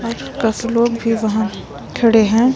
और लोग भी वहां खड़े हैं।